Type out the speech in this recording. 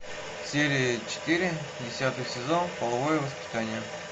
серия четыре десятый сезон половое воспитание